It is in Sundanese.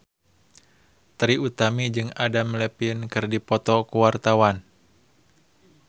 Trie Utami jeung Adam Levine keur dipoto ku wartawan